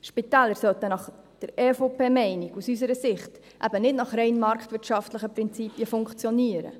Spitäler sollten nach der EVP-Meinung, aus unserer Sicht, eben nicht nach rein marktwirtschaftlichen Prinzipien funktionieren.